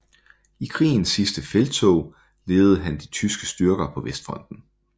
I krigens sidste felttog ledede han de tyske styrker på Vestfronten